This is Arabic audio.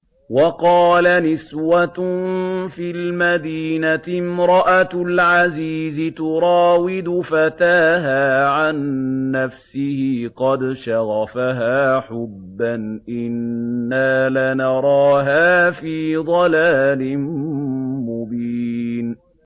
۞ وَقَالَ نِسْوَةٌ فِي الْمَدِينَةِ امْرَأَتُ الْعَزِيزِ تُرَاوِدُ فَتَاهَا عَن نَّفْسِهِ ۖ قَدْ شَغَفَهَا حُبًّا ۖ إِنَّا لَنَرَاهَا فِي ضَلَالٍ مُّبِينٍ